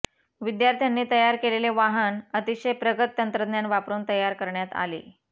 विद्यार्थ्यांनी तयार केलेले वाहन अतिशय प्रगत तंत्रज्ञान वापरून तयार करण्यात आले